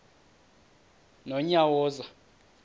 nonyawoza